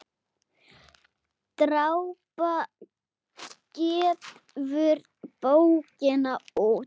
Drápa gefur bókina út.